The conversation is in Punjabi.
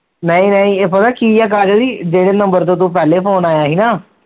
ਨਈ ਨਈ ਇਹ ਪਤਾ ਕੀ ਕਾਜਲ ਜੀ ਜਿਹੜੇ ਨੰਬਰ ਤੋ ਪਹਿਲੇ ਫੋਨ ਆਇਆ ਸੀ ਨਾ